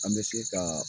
An bɛ se kaa